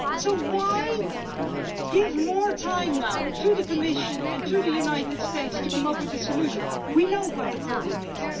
So why now give more time to the Commission and to the United States to come up with a solution? We know what the problem is.